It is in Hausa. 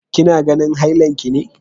Kina ganin hailan ki ne!